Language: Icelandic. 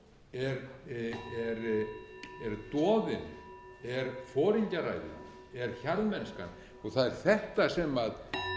er doðinn er foringjaræðið er hjarðmennskan og það er þetta sem er viðfangsefni